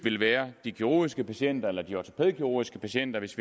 være de kirurgiske patienter eller de ortopædkirurgiske patienter hvis